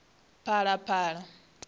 phalaphala